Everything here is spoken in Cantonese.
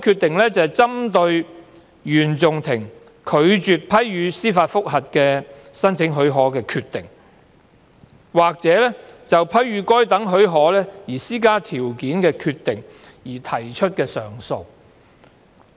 另外，是針對原訟法庭拒絕批予申請司法覆核的許可的決定，或就批予該等許可施加條件的決定而提出的上訴。